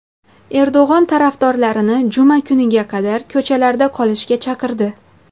Erdo‘g‘on tarafdorlarini juma kuniga qadar ko‘chalarda qolishga chaqirdi.